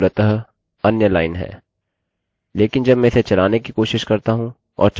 लेकिन जब मैं इसे चलाने कि कोशिश करता हूँ और चलाता हूँ हमें एक एरर मिलती है